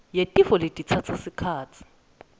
yetifo letitsatsa sikhatsi